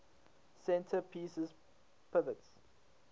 center pieces pivots